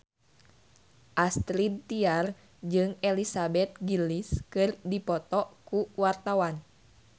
Astrid Tiar jeung Elizabeth Gillies keur dipoto ku wartawan